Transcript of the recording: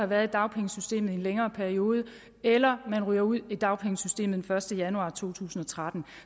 været i dagpengesystemet i en længere periode eller at man ryger ud af dagpengesystemet den første januar to tusind og tretten